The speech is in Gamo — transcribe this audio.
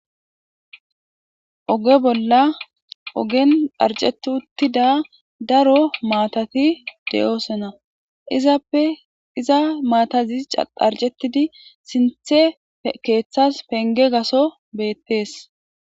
Oge bola ogeni aric'eti utida daro matha de'osona izappe iza mathazi aric'etidi sinthe kethas penge gaso betes.